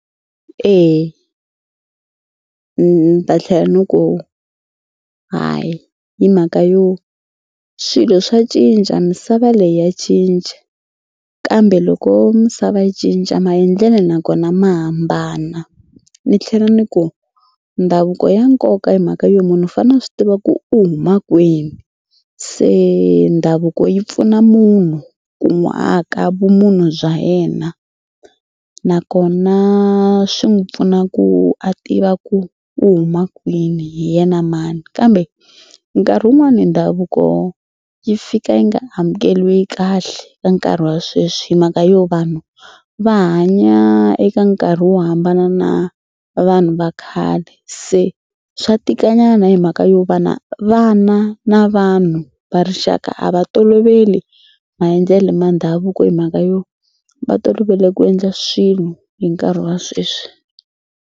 Eya ni ta tlhela ni ku hayi hi mhaka yo swilo swa cinca misava leyi ya cinca kambe loko misava yi cinca maendlelo nakona ma hambana. Ni tlhela ni ku ndhavuko ya nkoka hi mhaka yo munhu u fanele a swi tiva ku u huma kwini. Se ndhavuko yi pfuna munhu ku n'wi aka vumunhu bya yena nakona swi n'wi pfuna ku a tiva ku u huma kwini hi yena mani kambe nkarhi wun'wani ndhavuko yi fika yi nga amukeriwi kahle ka nkarhi wa sweswi hi mhaka yo vanhu va hanya eka nkarhi wo hambana na vanhu va khale. Se swa tikanyana hi mhaka yo va na vana na vanhu va rixaka a va toloveli maendlelo ma ndhavuko hi mhaka yo va tolovele ku endla swilo hi nkarhi wa sweswi.